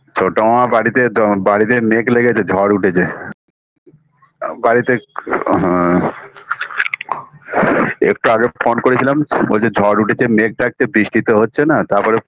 ছোট মামার বাড়িতে দ বাড়িতে মেঘ লেগেছে ঝড় উঠেছে বাড়িতে আ হা একটু আগে phone করেছিলাম বলছে ঝড় উঠেছে মেঘ ডাকছে বৃষ্টি তো হচ্ছে না তারপর